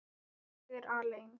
Ég er aleinn.